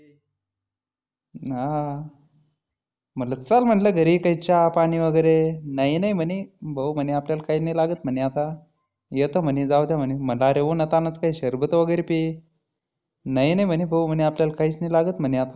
हा म्हटलं चल म्हटलं घरी काही चहा पाणी वगैरे. नाही नाही म्हणे भाऊ म्हणे आपल्याला काही नाही लागत म्हणे आता. येतो म्हणी जाऊदे म्हणी, म्हटलं उन्हा तान्हाचं काही शरबत वगैरे पी नाही नाही भाऊ आपल्याला काहीच नाही लागत म्हणी आता.